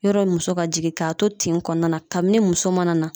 Yɔrɔ muso ka jigin k'a to tin kɔnɔna na kabini muso man na